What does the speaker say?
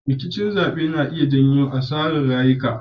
Rikicin zabe na iya janyo asarar rayuka.